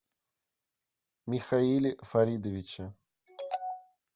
михаиле фаридовиче